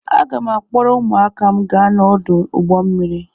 Aga m a-akpọrọ ụmụaka m gaa n'ọdụ ụgbọ mmiri.